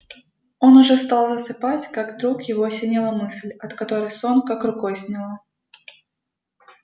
он уже стал засыпать как вдруг его осенила мысль от которой сон как рукой сняло